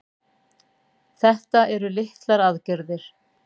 Þetta eru litlar aðgerðir